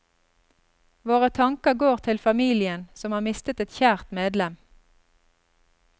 Våre tanker går til familien, som har mistet et kjært medlem.